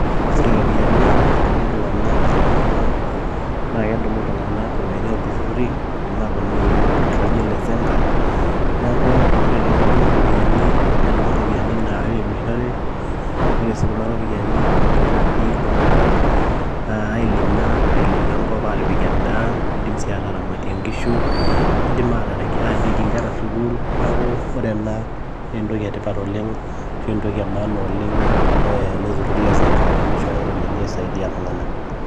Ore iropiyiani naadummu iltung'anak tenkop ang' naa kedumu iltung'anak iropiyiani oo ilturrurri neidim aatudumu iropiyiani ilturrurri laijio ele Zenka neeku ore tenedumu iropiyiani nedumu iropiyiani nairemishore ore sii Kuna ropiyiani keidim naaji iltung'anak ailima engop airemoki endaa neidim sii aataramatie enkishu niidim aatorikie enkera sukuul neeku ore ena naa entoki etipat oleng' ashu entoki emaana oleng' ele turrur leZenka teneishooyo iropiyiani aisho iltung'anak.